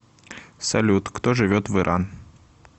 салют кто живет в иран